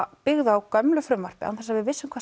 byggð á gömlu frumvarpi án þess að við vissum hvað